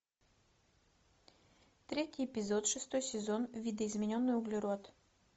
третий эпизод шестой сезон видоизмененный углерод